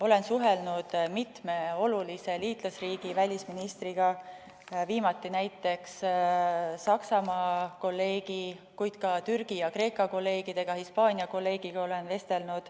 Olen suhelnud mitme olulise liitlasriigi välisministriga, viimati näiteks Saksamaa kolleegiga, kuid olen vestelnud ka Türgi, Kreeka ja Hispaania kolleegiga.